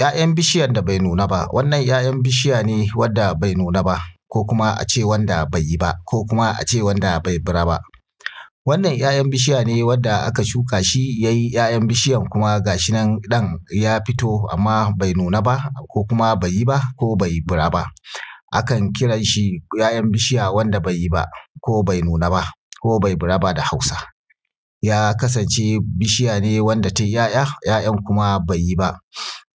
'Ya'yan bishiyan da bai nuna baa. Wannan ;ya'yan bishiya ne wanda bai nuna ba ko kuma ace wanda baiyi ba ko kuma ace wanda bai bura ba. Wannan 'ya'yan bishiya ne wanda aka shukaa shi yayi 'ya'yan bishiya kuma ga shi nan ɗan ya fito amma bai nuna ba ko kuma bai yi ba ko bai bura ba akan kiranshi 'ya'yan bishiya wanda bai yi ba ko bai nuna ba ko bai bura ba da hausa. Ya kasance bishiya ce wanda ta yi 'ya'ja 'ya'jan kuma bai yi ba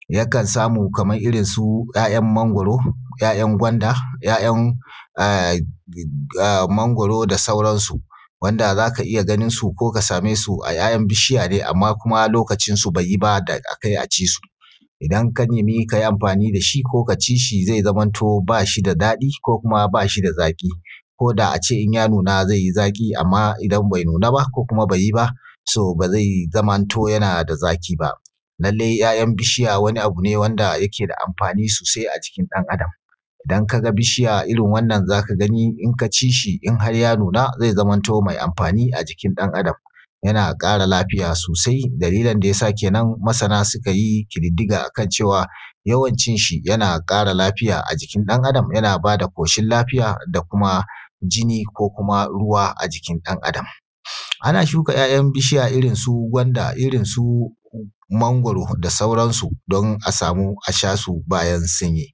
yakan samu kamar irin su 'yaa'yn mangwaro, 'ya'yan gwanda, 'ya'yan mangwaro da sauransu wanda za ka iya ganin su ko ka same su a 'ya'yan bishiya ne amma kuma lokacin su bai yi ba da da akai a ci su. Idan ka nemi ka yi amfaani da shi ko ka ci zai zamanto baa shi da daɗi ko kuma ba shi da zaƙi ko daa a ce inya nuna zai yi zaƙi amma idan bai nuna ba ko bai yi baa so ba zai zamanto yana da zaƙi ba. lalle 'ya'yan bishiya wani abu ne wanda yake da amfaani soosai a jikin ɗan’adam, idan ka ga bishiya irin wannan za ka gani idan ka ci shi in har ya nuna zai zamanto mai amfaani a jikin ɗan’adam. Yana ƙara lafiya soosai, dalilin dayasa kenan masana suka yi ƙididdiga akan cewa yawan cin shi yana ƙara lafiya a jikin ɗan’adam yana baa da ƙoshin lafiya da kuma jini ko kuma ruwa a jikin ɗan’adam. Ana shuka 'ya'yan bishiya iirnsu gwanda irisu mangwaro da sauransu don a samu a sha su bayan sun yi